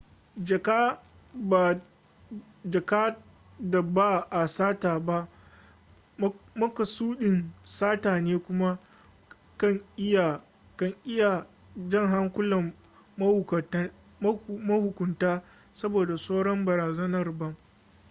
jaka da ba a sata ba makasudin sata ne kuma kan iya jan hankulan mahukunta saboda tsoron barazanar bam